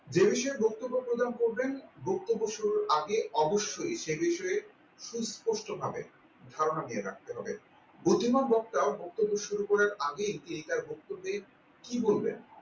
যে বিষয়ে বক্তব্য প্রদান করবেন বক্তব্য শুরুর আগে অবশ্যই সেই বিষয়ে সুস্পষ্টভাবে ধারণা নিয়ে রাখতে হবে বুদ্ধিমান বক্তাও বক্তব্য শুরু করার আগে তিনি তার বক্তব্যে কি বলবেন